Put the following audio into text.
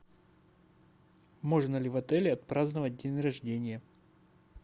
можно ли в отеле отпраздновать день рождения